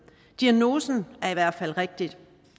diagnosen er i hvert fald rigtig